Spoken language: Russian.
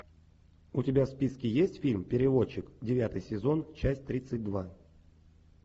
у тебя в списке есть фильм переводчик девятый сезон часть тридцать два